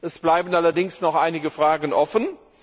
Es bleiben allerdings noch einige Fragen offen.